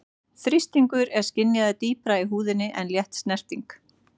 Þrýstingur er skynjaður dýpra í húðinni en létt snerting.